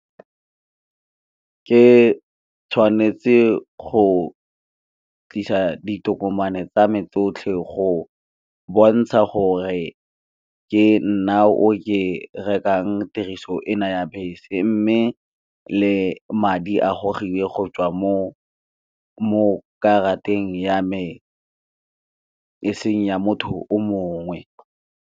Ke tshwanetse go tlisa ditokomane tsame tsotlhe, go bontsha gore ke nna o ke rekang tiriso ena ya bese mme le madi a gogiwe go tswa mo karateng ya me eseng ya motho.